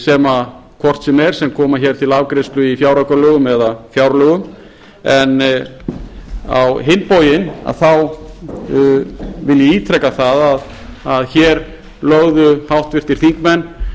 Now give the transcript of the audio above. sem hvort sem er koma hér til afgreiðslu í fjáraukalögum eða fjárlögum en á hinn bóginn þá vil ég ítreka það að hér lögðu háttvirtir þingmenn